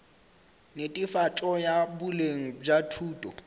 netefatšo ya boleng bja thuto